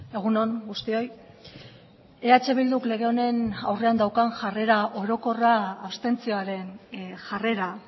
egun on guztioi eh bilduk lege honen aurrean daukan jarrera orokorra abstentzioaren jarrera